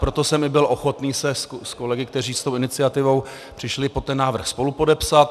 Proto jsem i byl ochoten se s kolegy, kteří s tou iniciativou přišli, pod ten návrh spolupodepsat.